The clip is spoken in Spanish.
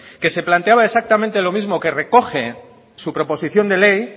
que se planteaba exactamente lo mismo que recoge su proposición de ley